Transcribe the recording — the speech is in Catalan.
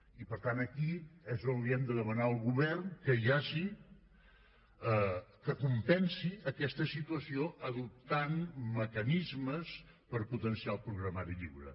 i per tant aquí és on hem de demanar al govern que compensi aquesta situació adoptant mecanismes per potenciar el programari lliure